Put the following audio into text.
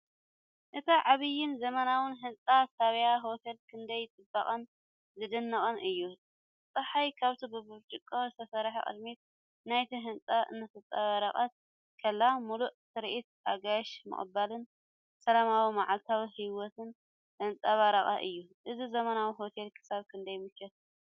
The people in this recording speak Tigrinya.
እቲ ዓቢን ዘመናውን ህንጻ ሳብያን ሆቴል ክንደይ ጽቡቕን ዝድነቕን እዩ! ጸሓይ ካብቲ ብብርጭቆ ዝተሰርሐ ቅድሚት ናይቲ ህንጻ እናተንጸባረቐት ከላ፡ ምሉእ ትርኢት ኣጋይሽ ምቕባልን ሰላማዊ መዓልታዊ ህይወትን ዘንጸባርቕ እዩ። እዚ ዘመናዊ ሆቴል ክሳብ ክንደይ ምቾት ኣለዎ?